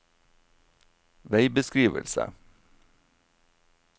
veibeskrivelse